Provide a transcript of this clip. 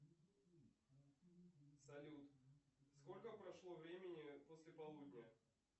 салют сколько прошло времени после полудня